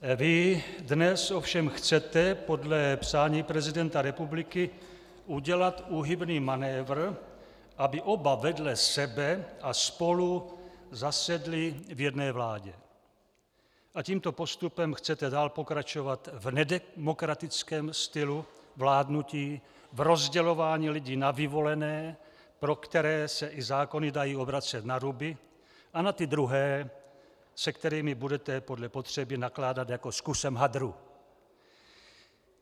Vy dnes ovšem chcete podle přání prezidenta republiky udělat úhybný manévr, aby oba vedle sebe a spolu zasedli v jedné vládě, a tímto postupem chcete dál pokračovat v nedemokratickém stylu vládnutí, v rozdělování lidí na vyvolené, pro které se i zákony dají obracet naruby, a na ty druhé, s kterými budete podle potřeby nakládat jako s kusem hadru.